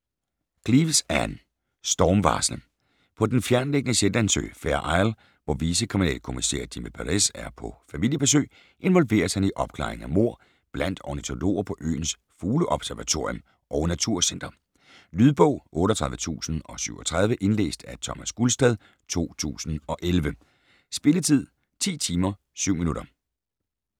Cleeves, Ann: Stormvarsel På den fjerntliggende Shetlandsø, Fair Isle, hvor vicekriminalkommissær Jimmi Perez er på familiebesøg, involveres han i opklaringen af mord blandt ornitologer på øens fugleobservatorium og naturcenter. Lydbog 38037 Indlæst af Thomas Gulstad, 2011. Spilletid: 10 timer, 7 minutter.